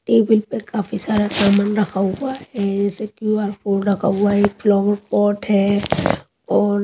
table पे काफी सारा सामान रखा हुआ है ए ऐसे क्यू_आर कोड रखा हुआ है एक फ्लावर पॉट है और --